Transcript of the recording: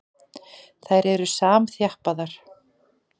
Þær eru samþjappaðar.